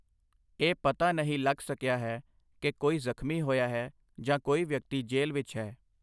ਇਹ ਪਤਾ ਨਹੀਂ ਲੱਗ ਸਕਿਆ ਕਿ ਕੋਈ ਜ਼ਖ਼ਮੀ ਹੋਇਆ ਹੈ ਜਾਂ ਕੋਈ ਵਿਅਕਤੀ ਜੇਲ੍ਹ ਵਿੱਚ ਹੈ।